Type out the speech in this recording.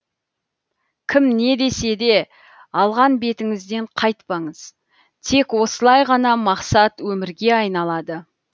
кім недесе де алған бетіңізден қайтпаңыз тек осылай ғана мақсат өмірге айналады